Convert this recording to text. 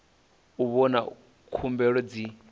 u vhona uri khumbelo dzi